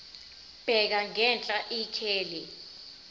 bheka ngenhla ikheli